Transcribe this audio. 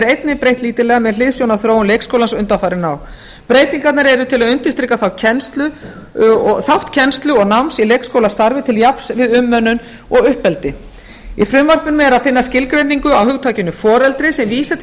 einnig breytt lítillega með hliðsjón af þróun leikskólans undanfarin ár breytingarnar eru til að undirstrika þátt kennslu og náms í leikskólastarfi til jafns við umönnun og uppeldi í frumvarpinu er að finna skilgreiningu á hugtakinu foreldri sem vísi til